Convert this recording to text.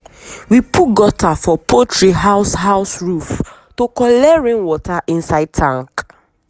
we put gutter for poultry house house roof to collect rain water inside tank.